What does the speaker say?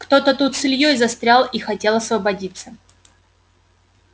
кто-то тут с ильёй застрял и хотел освободиться